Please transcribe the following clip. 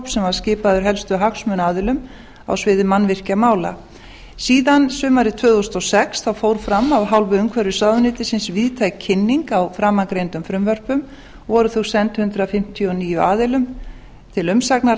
var skipaður helstu hagsmunaaðilum á sviði mannvirkjamála síðan sumarið tvö þúsund og sex fór fram af hálfu umhverfisráðuneytisins víðtæk kynning á framangreindum frumvörpum og voru þau send hundrað fimmtíu og níu aðilum til umsagnar